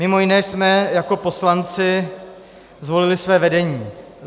Mimo jiné jsme jako poslanci zvolili své vedení.